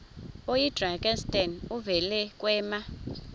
oyidrakenstein uvele kwema